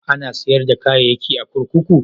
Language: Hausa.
Ana sayar da kayayyaki a kurkuku?